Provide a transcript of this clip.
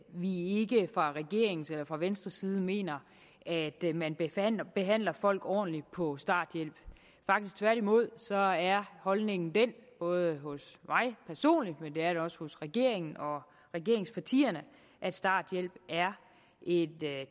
vi ikke fra regeringens eller fra venstres side mener at man behandler folk ordentligt på starthjælp faktisk tværtimod så er holdningen den både hos mig personligt og det er det også hos regeringen og regeringspartierne at starthjælp er et